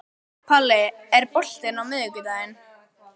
Palli, er bolti á miðvikudaginn?